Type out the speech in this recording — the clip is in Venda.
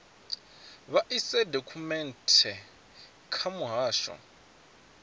vha ise dokhumenthe kha muhasho